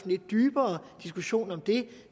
lidt dybere diskussion om det